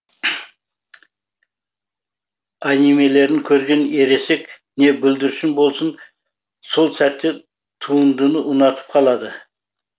анимелерін көрген ересек не бүлдіршін болсын сол сәтте туындыны ұнатып қалады